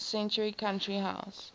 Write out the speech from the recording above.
century country house